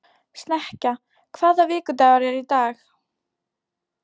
Snekkja, hvaða vikudagur er í dag?